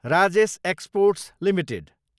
Rajesh exports Ltd